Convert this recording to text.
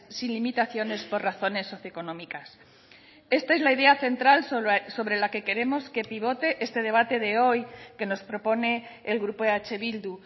sin limitaciones por razones económicas esta es la idea central sobre la que queremos que pivote este debate de hoy que nos propone el grupo eh bildu